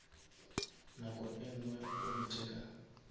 nako e ngwe o ntheka